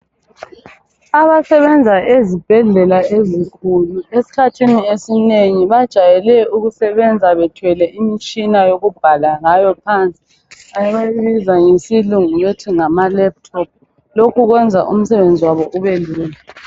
Abasebenza ezibhendlela ezinkulu esikhathini esinengi bajayele ukusebenza bethwele imitshina yokubhala ngayo phansi abayibiza ngesilungu bethi ngamalaptop lokhu kwenza umsebenzi wabo ubelula.